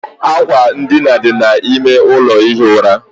Àkwà edina dị n'ime ụlọ ihi ura.